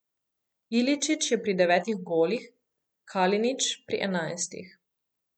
Iličić je pri devetih golih, Kalinić pri enajstih.